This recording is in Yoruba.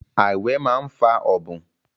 Àìwẹ̀ máa ń fa ọ̀bùn